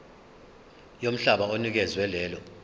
yomhlaba onikezwe lelo